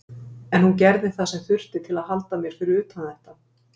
En hún gerði það sem þurfti til að halda mér fyrir utan þetta.